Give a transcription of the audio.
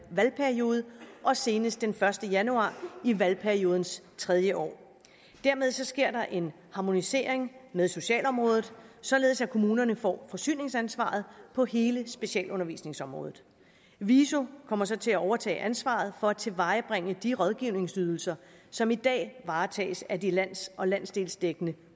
valgperiode og senest den første januar i valgperiodens tredje år dermed sker der en harmonisering med socialområdet således at kommunerne får forsyningsansvaret på hele specialundervisningsområdet viso kommer så til at overtage ansvaret for at tilvejebringe de rådgivningsydelser som i dag varetages af de lands og landsdelsdækkende